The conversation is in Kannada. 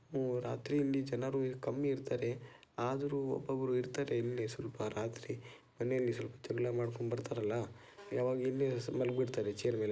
ರಾತ್ರಿಯಲ್ಲಿ ಜನರು ಇಲ್ಲಿ ಕಮ್ಮಿ ಇರ್ತಾರೆ. ಆದರೂ ಒಬ್ಬೊಬ್ರು ಇರ್ತಾರೆ ಇಲ್ಲಿ ಸ್ವಲ್ಪ ಜನ ರಾತ್ರಿ ಮನೆಯಲ್ಲಿ ಸ್ವಲ್ಪ ಜಗಳ ಮಾಡ್ಕೊಂಡ್ ಬರ್ತಾರಲ್ಲ ಅವಾಗ ಇಲ್ಲಿ ಮಲಗಿ ಬಿಡ್ತಾರೆ ಚೇರ್ ಮೇಲೆ.